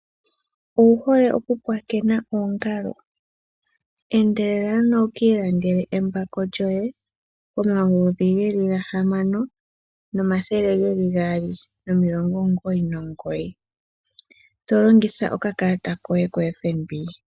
Owu hole okupulakena oongalo? Endelela ano wu ka ilandele embako lyoye komayovi ge li gahamano omathele gaali nomilongo omugoyi nomugoyi. To longitha okakalata koye koFNB.